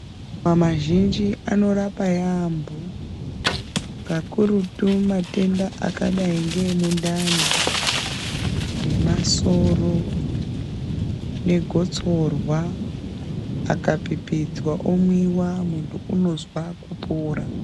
Maruva mazhinji anorapa yaambo kakurutu matenda akadai ngemundani nemasoro negotsorwa. Akapipidzwa omwiva muntu unozwa kupora.